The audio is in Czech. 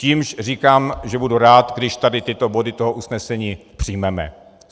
Čímž říkám, že budu rád, když tady tyto body toho usnesení přijmeme.